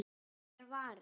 Þykkar varir.